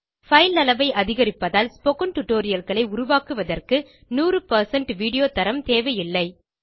file அளவை அதிகரிப்பதால் spoken Tutorialகளை உருவாக்குவதற்கு 100 வீடியோ தரம் தேவையில்லை